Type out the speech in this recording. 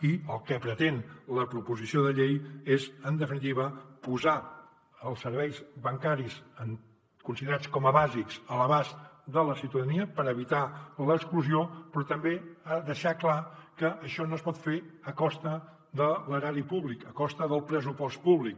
i el que pretén la proposició de llei és en definitiva posar els serveis bancaris considerats com a bàsics a l’abast de la ciutadania per evitar ne l’exclusió però també deixar clar que això no es pot fer a costa de l’erari públic a costa del pressupost públic